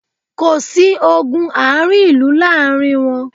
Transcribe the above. Kò sí ogun ààrin ìlú láàrin wọn